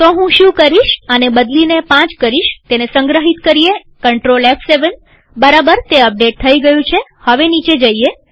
તો હું શું કરીશ આને બદલી પાંચ કરીશતેને સંગ્રહિત કરીએCTRL F7બરાબરતે અપડેટ થઇ ગયું છેહવે નીચે જઈએ